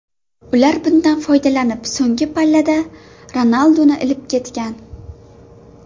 Ular bundan foydalanib, so‘nggi pallada Ronalduni ilib ketgan.